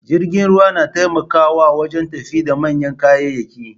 Jirgin ruwa nataimakawa wajen tafida manyan kayayyaki